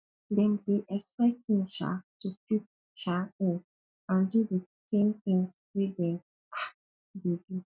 dem dey expect me um to fit um in and do di same things wey dem um dey do